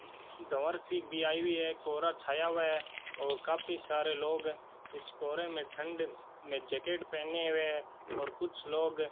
सी भी आई हुई है कोहरा छाया हुआ है और काफी सारे लोग इस कोहरे में ठंड में जैकेट पहने हुए हैं और कुछ लोग --